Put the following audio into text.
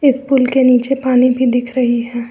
इस पुल के नीचे पानी भी दिख रही है।